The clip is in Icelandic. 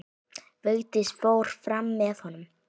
Vigdís fór fram með honum.